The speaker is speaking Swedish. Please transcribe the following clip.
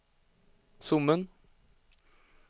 Sommen